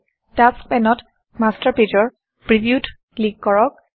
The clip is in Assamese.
টাস্কছ টাস্ক পেনত মাষ্টাৰ Pageৰ previewত ক্লিক কৰক